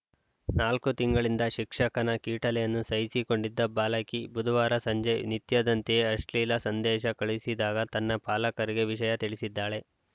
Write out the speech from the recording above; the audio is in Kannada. ನಾಲ್ಕು ತಿಂಗಳಿಂದ ಶಿಕ್ಷಕನ ಕೀಟಲೆಯನ್ನು ಸಹಿಸಿಕೊಂಡಿದ್ದ ಬಾಲಕಿ ಬುಧವಾರ ಸಂಜೆ ನಿತ್ಯದಂತೆಯೇ ಅಶ್ಲೀಲ ಸಂದೇಶ ಕಳುಹಿಸಿದಾಗ ತನ್ನ ಪಾಲಕರಿಗೆ ವಿಷಯ ತಿಳಿಸಿದ್ದಾಳೆ